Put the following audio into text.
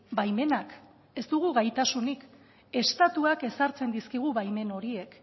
baimenak ez dugu gaitasunik estatuak ezartzen dizkigu baimen horiek